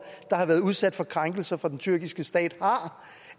der har været udsat for krænkelser fra den tyrkiske stat har